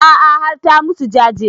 A'a har ta musu jaje